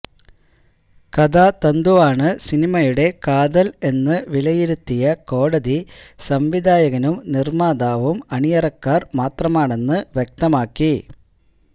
കഥാതന്തുവാണ് സിനിമയുടെ കാതൽ എന്ന് വിലയിരുത്തിയ കോടതി സംവിധായകനും നിർമാതാവും അണിയറക്കാർ മാത്രമാണന്ന് വ്യക്തമാക്കി